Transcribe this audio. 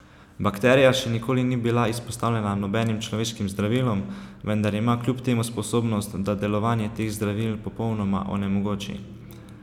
Bakterija še nikoli ni bila izpostavljena nobenim človeškim zdravilom, vendar ima kljub temu sposobnost, da delovanje teh zdravil popolnoma onemogoči.